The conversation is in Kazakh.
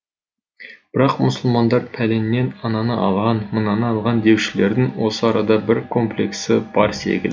бірақ мұсылмандар пәленнен ананы алған мынаны алған деушілердің осы арада бір комплексі бар секілді